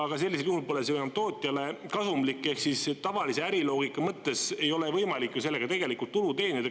Aga sellisel juhul pole see ju enam tootjale kasumlik, ehk siis tavalise äriloogika mõttes ei ole võimalik ju sellega tegelikult tulu teenida.